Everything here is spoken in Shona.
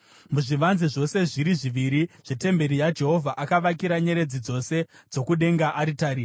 Muzvivanze zvose zviri zviviri zvetemberi yaJehovha, akavakira nyeredzi dzose dzokudenga aritari.